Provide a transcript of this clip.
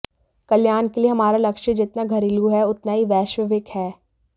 कल्याण के लिए हमारा लक्ष्य जितना घरेलू है उतना ही वैश्विक भी है